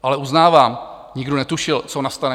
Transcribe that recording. Ale uznávám, nikdo netušil, co nastane.